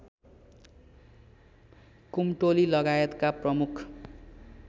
कुम्टोली लगायतका प्रमुख